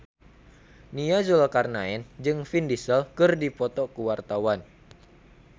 Nia Zulkarnaen jeung Vin Diesel keur dipoto ku wartawan